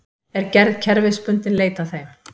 Er gerð kerfisbundinn leit að þeim